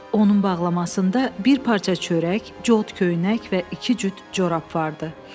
Onun bağlamasında bir parça çörək, cod köynək və iki cüt corab vardı.